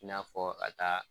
I n'a fɔ a taa.